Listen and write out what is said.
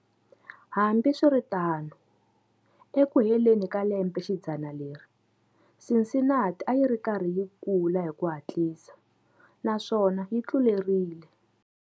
Hambiswiritano, eku heleni ka lembexidzana leri, Cincinnati a yi ri karhi yi kula hi ku hatlisa, naswona yi tluleri.